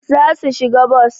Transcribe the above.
Zasu shiga bos